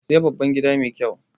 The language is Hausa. Ka sayi babban gida mai ƙyau